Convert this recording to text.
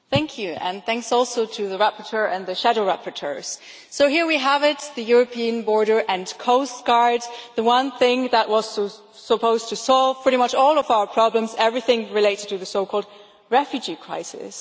Mr President, I would like to thank the rapporteur and the shadow rapporteurs. So here we have it the European Border and Coast Guard, the one thing that was supposed to solve pretty much all of our problems everything related to the so-called refugee crisis.